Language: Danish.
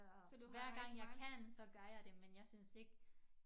Så hver gang jeg kan så gør jeg det men jeg synes ikke